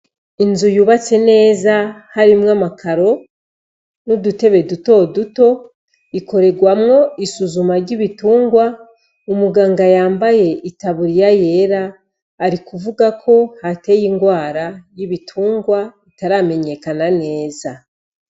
Inzu yubatse neza harimwo amakaro n'udutebe duto duto, ikorerwamwo isuzuma ry'ibitungwa, umuganga yambaye itaburiya yera ari kuvuga ko hateye ingwara y'ibitungwa itaramenyekana neza.